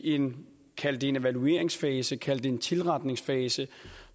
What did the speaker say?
i en kald det en evalueringsfase kald det en tilretningsfase